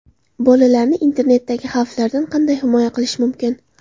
Bolalarni internetdagi xavflardan qanday himoya qilish mumkin?.